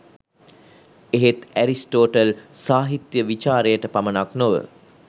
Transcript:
එහෙත් ඇරිස්ටෝටල් සාහිත්‍ය විචාරයට පමණක් නොව